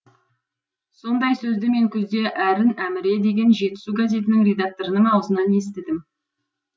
сондай сөзді мен күзде әрін әміре деген жетісу газетінің редакторының аузынан естідім